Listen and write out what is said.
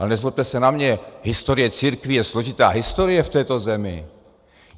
Ale nezlobte se na mě, historie církví je složitá historie v této zemi.